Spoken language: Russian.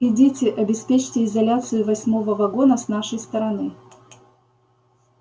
идите обеспечьте изоляцию восьмого вагона с нашей стороны